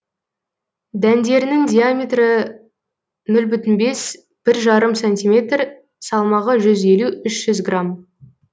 дәндерінің диаметрі нөл бүтін оннан бес бір жарым сантиметр салмағы жүз елу үшжүз грамм